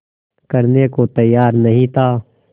करने को तैयार नहीं था